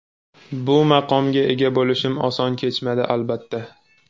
Bu maqomga ega bo‘lishim oson kechmadi, albatta.